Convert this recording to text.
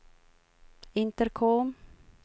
intercom